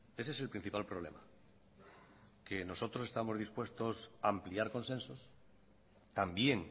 ese es el principal problema que nosotros estamos dispuestos a ampliar consensos también